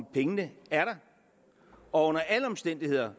pengene er der og under alle omstændigheder